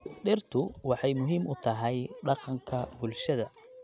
Dhirtu waxay muhiim u tahay dhaqanka bulshada.